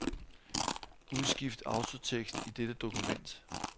Udskift autotekst i dette dokument.